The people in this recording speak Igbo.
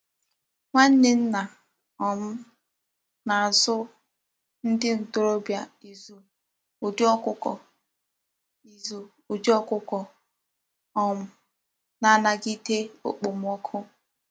Nwanne nna um m na-azụ ndị ntorobịa ịzụ udi ọkụkọ ịzụ udi ọkụkọ um na-anagide okpomọkụ.